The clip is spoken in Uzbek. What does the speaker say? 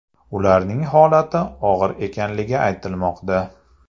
Ularning holati og‘ir ekanligi aytilmoqda.